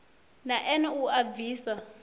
na ene u a bvisa